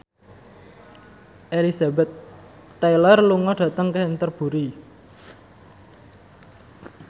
Elizabeth Taylor lunga dhateng Canterbury